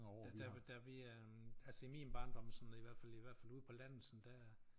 Da da da vi øh altså i min barndom sådan i hvert fald i hvert fald ude på landet sådan der